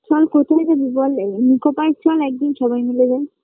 চল কোথায় যাবি বল এ নিকো park চল একদিন সবাই মিলে যাই